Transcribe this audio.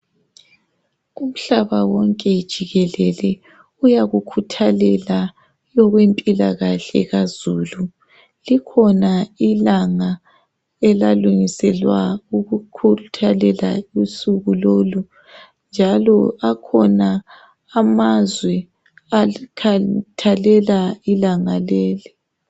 Umhlaba wonke jikelele uyakukhuthalela okwempilakahle kazulu. Likhona ilanga elalungiselwa ukukhuthalela usuku lolu njalo akhona amazwe akhathalela ilanga leli.